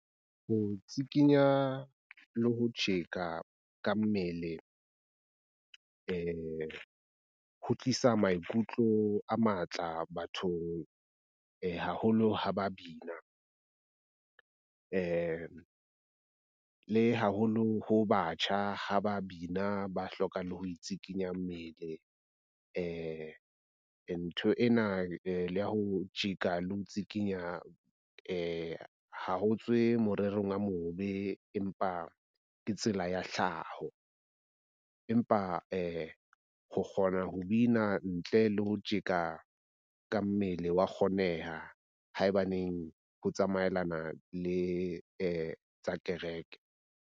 Ho tsikinya le ho tjheka ka mmele ho tlisa maikutlo a matla bathong haholo ha ba bina le haholo ho batjha, ha ba bina ba hloka le ho tsikinya mmele . Ntho ena ya ho tjeka le ho tsikinya ha ho tswe morerong a mobe, empa ke tsela ya hlaho. Empa ho kgona ho bina ntle le ho tjeka ka mmele wa kgoneha haebaneng ho tsamaelana le tsa kereke.